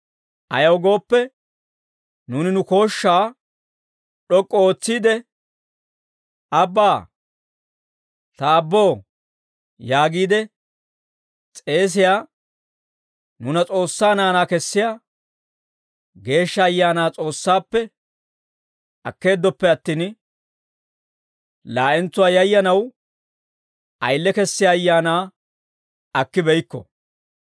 Ayaw gooppe, nuuni nu kooshshaa d'ok'k'u ootsiide, «Abbaa! Ta Aabboo» yaagiide s'eesiyaa, nuuna S'oossaa naanaa kessiyaa Geeshsha Ayaanaa S'oossaappe akkeeddoppe attin, laa'entsuwaa yayyanaw ayile kessiyaa ayaanaa akkibeykko.